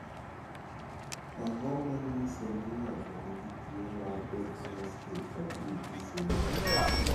Ang�o ma nyiso ni ng�ato nigi tuo mar Deafness infertility syndrome?